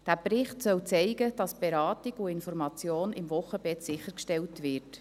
Dieser Bericht soll zeigen, dass die Beratung und Information im Wochenbett sichergestellt werden.